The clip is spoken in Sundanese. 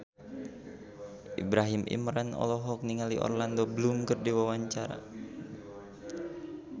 Ibrahim Imran olohok ningali Orlando Bloom keur diwawancara